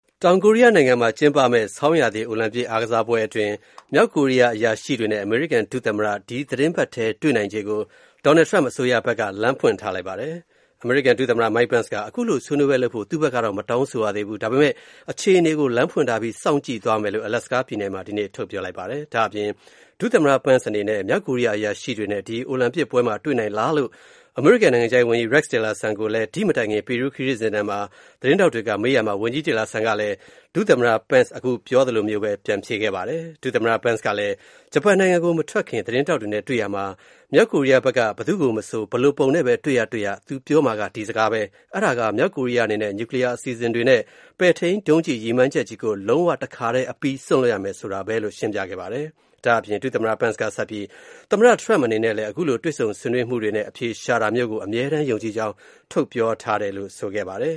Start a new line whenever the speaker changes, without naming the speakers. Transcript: တောင်ကိုရီးယားနိုင်ငံမှာကျင်းပမယ့် ဆောင်းရာသီ အိုလံပစ်အားကစားပွဲအတွင်း မြောက်ကိုရီးယား အရာရှိတွေနဲ့ အမေရိကန် ဒုသမ္မတ ဒီသီတင်းပတ်ထဲ တွေ့နိုင်ချေကို Donald Trump အစိုးရဖက်က လမ်းဖွင့်ထားပါတယ်။ အမေရိကန် ဒုသမ္မတ Mike Pence က ခုလို ဆွေးနွေးပွဲလုပ်ဖို့ သူ့ဘက်ကတော့ မတောင်းဆိုရသေးဘူး။ ဒါပေမဲ့ အခြေအနေကို လမ်းဖွင့်ထားပြီး စောင့်ကြည့်သွားမယ်လို့ Alaska မှာ ဒီနေ့ ပြောလိုက်ပါတယ်။ ဒါ့အပြင် ဒုသမ္မတ Pence အနေနဲ့ မြောက်ကိုရီယားအရာရှိတွေနဲ့ ဒီအိုလံပစ်ပွဲမှာတွေ့နိုင် လားလို့ အမေရိကန်နိုင်ငံခြားရေးဝန်ကြီး Rex Tillerson ကို ဒီ့မတိုင်ခင် ပီရူးနိုင်ငံခရီးစဉ်ထဲမှာ သတင်းထောက်တွေကမေးရာမှာဝန်ကြီး Tillerson ကလဲ ဒုသမ္မတ Pence အခုပြောသလိုမျိုးပဲ ပြန်ဖြေခဲ့ပါတယ်။ ဒုသမ္မတ Pence ကလည်း ဂျပန်နိုင်ငံကို မထွက်ခင် သတင်းထောက်တွေနဲ့တွေ့ရာမှာ မြောက်ကိုရီးယားဖက်က ဘယ်သူကိုမဆို ဘယ်လိုပုံနဲ့ပဲတွေ့ရတွေ့ရ သူပြောမှက ဒီစကားပဲ၊ အဲ့ဒါက မြောက်ကိုရီးယား အနေနဲ့ နျူကလီးယား အစီအစဉ်တွေနဲ့ ပဲ့ထိန်းဒုံးကျည် ရည်မှန်းချက်ကြီးကို လုံးဝ တခါထဲအပြီး စွန့်လွှတ်ရမယ် ဆိုတာပါပဲ လို့ ရှင်းပြခဲ့ပါတယ်။ ဒါ့အပြင် ဒုသမ္မတ Pence ကဆက်ပြီးသမ္မတ Trump အနေနဲ့လဲ ခုလို တွေ့ဆုံ ဆွေးနွေးမှုတွေနဲ့ အဖြေရှာတာမျိုးကို အမြဲတမ်းယုံကြည်ကြောင်း ပြောထားတယ်လို့ ဆိုပါတယ်